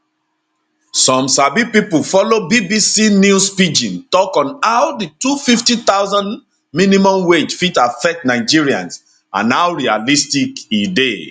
some sabi pipo follow bbc news pidgin tok on how di 250000 minimum wage fit affect nigerians and how realistic e dey